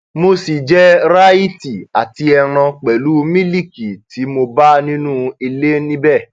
mo ṣì jẹ ráìtì àti ẹran pẹlú mílíìkì tí mo bá nínú ilé níbẹ